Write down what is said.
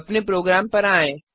अपने प्रोग्राम पर आएँ